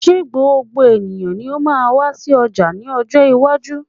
se gbogbo eniyan ni o maa ma wa si oja ni ojo iwaju?